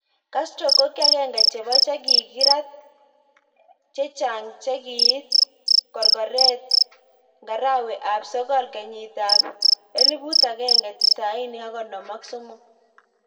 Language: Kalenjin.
Castro kokiagenge chebo chikikirat ik chechang chikikiit korgorret ik ngarawe ab sogol kenyit ab elibut ak kenge tisaini ak konom ak somok.